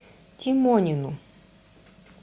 тимонину